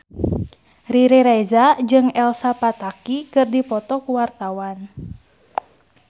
Riri Reza jeung Elsa Pataky keur dipoto ku wartawan